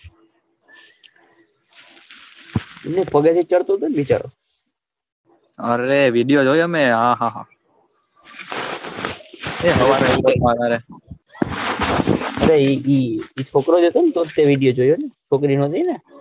અરે video જોયો મેં આહાહા અરે એ બી એક છોકરો જ હતો ને તો જ તે વિડિઓ જોયો છોકરી નો જોયો ને.